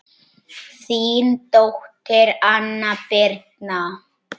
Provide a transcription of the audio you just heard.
Þín dóttir, Anna Birna.